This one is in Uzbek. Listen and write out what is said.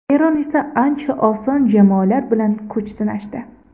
Eron esa ancha oson jamoalar bilan kuch sinashdi.